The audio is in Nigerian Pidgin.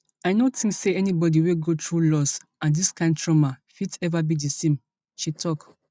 i no tink say anybody wey go through loss and dis kain trauma fit ever be di same she tok